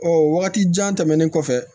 Ɔ wagati jan tɛmɛnen kɔfɛ